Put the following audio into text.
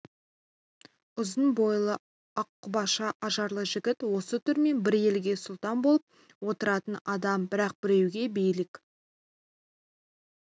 ұзын бойлы аққұбаша ажарлы жігіт осы түрімен бір елге сұлтан болып отыратын адам бірақ біреуге билік